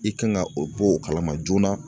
I kan ka o bɔ o kalama joona